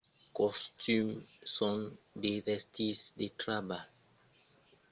los costums son de vestits de trabalh estandard e los collègas se sonan per lor nom de familha o per lor títol de foncion